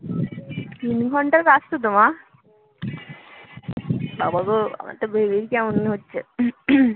তিন ঘন্টার রাস্তা তো মা বাবা গো আমার তো ভেবেই কেমন হচ্ছে